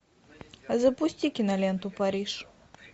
запусти киноленту париж